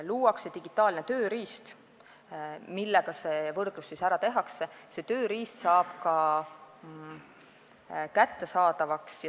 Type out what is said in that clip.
Luuakse digitaalne tööriist, millega see võrdlus ära tehakse, see tööriist saab ka kättesaadavaks.